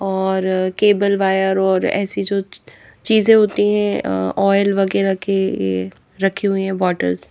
और cable wire और ऐसी जो चीजें होती हैंऑयल वगैरह केए रखी हुई है बॉटल्स --